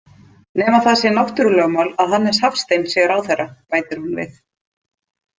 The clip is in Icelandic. Nema það sé náttúrulögmál að Hannes Hafstein sé ráðherra, bætir hún við.